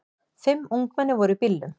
Fimm ungmenni voru í bílnum.